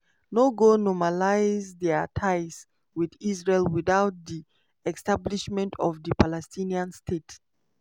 no go normalise dia ties wit israel witout di establishment of a palestinian state.